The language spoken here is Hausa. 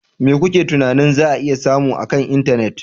Me kuke tunanin za a iya samu akan intanet?